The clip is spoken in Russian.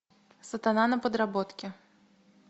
сатана на подработке